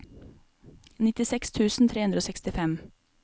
nittiseks tusen tre hundre og sekstifem